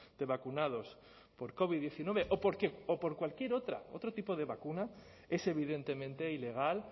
de vacunados por covid diecinueve o por cualquier otra otro tipo de vacunas es evidentemente ilegal